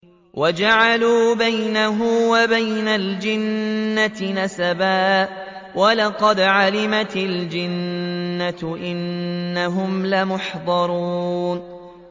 وَجَعَلُوا بَيْنَهُ وَبَيْنَ الْجِنَّةِ نَسَبًا ۚ وَلَقَدْ عَلِمَتِ الْجِنَّةُ إِنَّهُمْ لَمُحْضَرُونَ